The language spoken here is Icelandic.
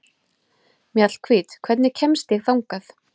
Mjallhvít, hvernig kemst ég þangað?